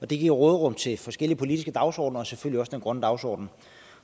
det giver råderum til forskellige politiske dagsordener og selvfølgelig den grønne dagsorden